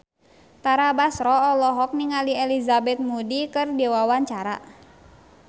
Tara Basro olohok ningali Elizabeth Moody keur diwawancara